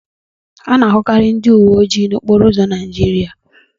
A na-ahụkari ndị uwe ojii n'okporo ụzọ Naijiria.